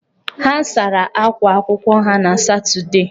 Ha sara akwa akwụkwọ ha na Satọdee.